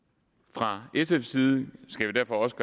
fra sfs side skal vi derfor også